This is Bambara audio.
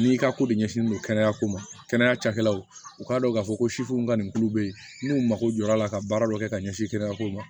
n'i ka ko de ɲɛsinnen don kɛnɛya ko ma kɛnɛya cakɛlaw u k'a dɔn k'a fɔ ko sifin ka nin tulo bɛ yen n'u mako jɔra a la ka baara dɔ kɛ ka ɲɛsin kɛnɛya ko ma